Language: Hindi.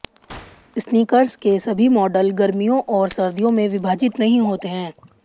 स्नीकर्स के सभी मॉडल गर्मियों और सर्दियों में विभाजित नहीं होते हैं